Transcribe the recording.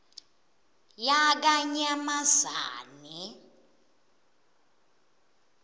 yakanyamazane